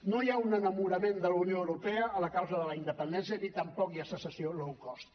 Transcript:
no hi ha un enamorament de la unió europea a la causa de la independència ni tampoc hi ha secessió low cost